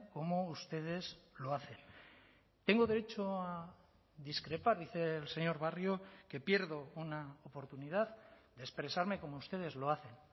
como ustedes lo hacen tengo derecho a discrepar dice el señor barrio que pierdo una oportunidad de expresarme como ustedes lo hacen